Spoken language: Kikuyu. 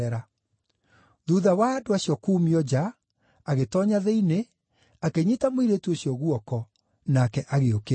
Thuutha wa andũ acio kuumio nja, agĩtoonya thĩinĩ, akĩnyiita mũirĩtu ũcio guoko, nake agĩũkĩra.